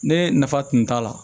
Ne nafa tun t'a la